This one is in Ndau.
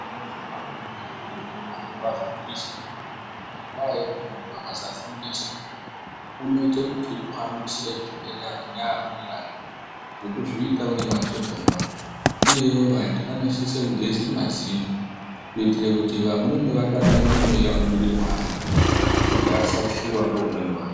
Zviro zvepabonde zvinoda kuti ukanzwa fundiso, ngendaa yekuti muntu akasafundiswa unoite kuti uhambusire zvirwere nevamweni vake ngekuzviite une vatotomba uye vantu vanosise kugeze mazino kuitire kuti vamweni vadakarire mweya unobude mwaari kuti asatyiwe neumweni wake.